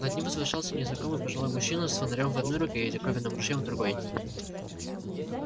над ним возвышался незнакомый пожилой мужчина с фонарём в одной руке и диковинным ружьём в другой